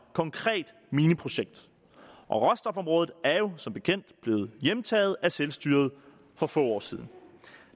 konkret mineprojekt og råstofområdet er jo som bekendt blevet hjemtaget af selvstyret for få år siden